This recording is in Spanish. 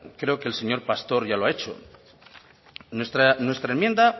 creo que el señor pastor ya lo ha hecho nuestra enmienda